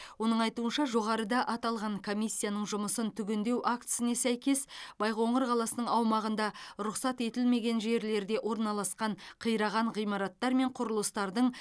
оның айтуынша жоғарыда аталған комиссияның жұмысын түгендеу актісіне сәйкес байқоңыр қаласының аумағында рұқсат етілмеген жерлерде орналасқан қираған ғимараттар мен құрылыстардың